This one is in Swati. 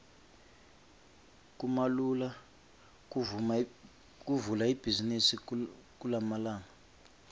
kumalula kuvula ibhizimisi kulamalanga